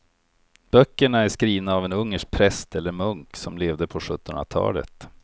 Böckerna är skrivna av en ungersk präst eller munk som levde på sjuttonhundratalet.